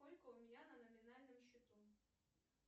сколько у меня на номинальном счету